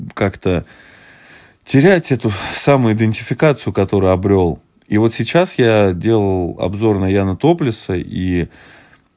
как-то терять эту самоидентификацию которую обрёл и вот сейчас я делал обзор на яна топлеса и